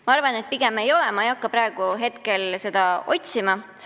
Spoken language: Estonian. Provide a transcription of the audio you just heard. Ma arvan, et pigem ei ole, aga ma ei hakka praegu seda siin otsima.